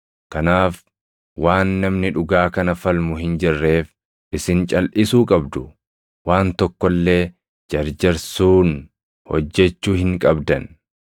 Kanaaf waan namni dhugaa kana falmu hin jirreef isin calʼisuu qabdu; waan tokko illee jarjarsuun hojjechuu hin qabdan.